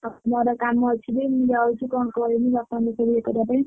ହଉ ମୋର କାମ ଅଛି ଟିକେ ମୁ ଯାଉଛି କଣ କହିମି ବାପାଙ୍କୁ ଟିକେ ଇଏ କରିବା ପାଇଁ।